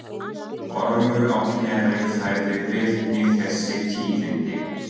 Ormur á Knerri færði Birni þessi tíðindi.